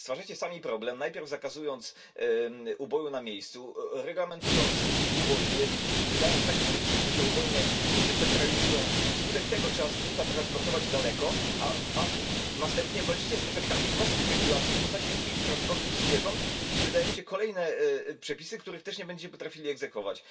Stwarzacie sami problem, najpierw zakazując uboju na miejscu, reglamentując ubojnie, wydając takie przepisy, że te ubojnie się centralizacją i wskutek tego trzeba zwierzęta transportować daleko, a następnie walczycie z efektami własnych regulacji w postaci długich transportów zwierząt i wydajecie kolejne przepisy, których też nie będzie potrafili egzekwować.